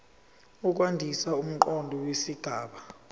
ukwandisa umqondo wesigaba